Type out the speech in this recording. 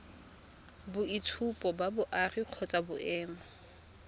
boitshupo ba boagi kgotsa boemo